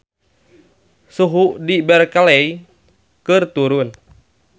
Suhu di Berkeley keur turun